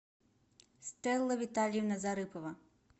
стелла витальевна зарыпова